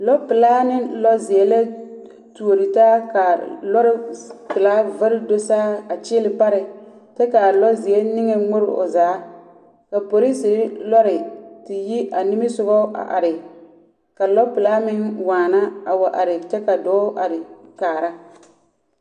lɔpelaa ne lɔzeɛ la tuori taa ka a lɔre pelaa z… vare do saa a kyeele pare kyɛ ka a zeɔzeɛ nŋmore o zaa. Ka polisiri te yi a nimisoga a re ka a lɔpelaa meŋ waana a wa are kyɛ ka dɔɔ meŋare kaara.